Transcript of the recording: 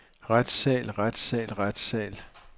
retssal retssal retssal